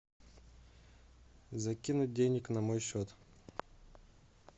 закинуть денег на мой счет